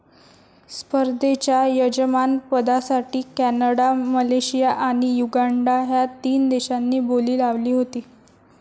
स्पर्धेच्या यजमानपदासाठी Canada, Malaysia आणि युगांडा ह्या तीन देशांनी बोली लावली होती.